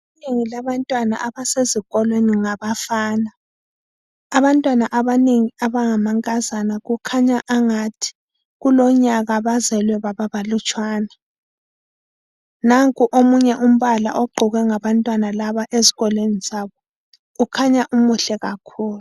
Inengi labantwana abasezikolweni ngabafana. Abantwana abanengi abangamankazana kukhanya angathi kulonyaka bazelwe bababalutshwane. Nanku omunye umbala ogqokwa ngabantwana ezikolweni zabo. Ukhanya umuhle kakhulu.